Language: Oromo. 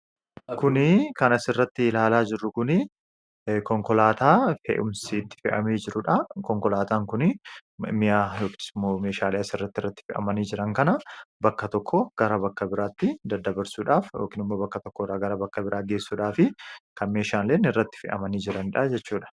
Kan asirratti ilaalaa jirru kuni konkoolaataa fe'umsi itti fe'amee jirudha, Konkolaataan kun ammoo meeshaalee asirratti irratti fe'amanii jiran kana bakka tokkoo bakka biraatti daddabarsuudhaaf yookaan ammoo bakka tokkoo bakka biraatti geessuudhaafi kan meeshaalee irratti fe'amanii jiranidha jechuudha..